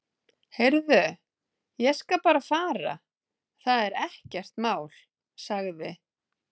Heyrðu, ég skal bara fara, það er ekkert mál- sagði